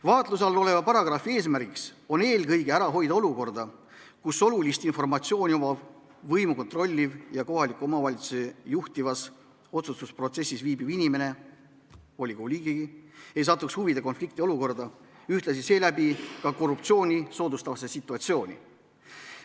Vaatluse all oleva paragrahvi eesmärk on eelkõige ära hoida olukorda, kus olulist informatsiooni omav, võimu kontrolliv ja kohalikus omavalitsuses juhtivas otsustusprotsessis osalev inimene, volikogu liige, ei satuks huvide konflikti olukorda, ühtlasi seeläbi ka korruptsiooni soodustavasse situatsiooni.